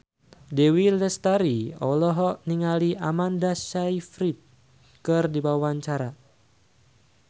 Dewi Lestari olohok ningali Amanda Sayfried keur diwawancara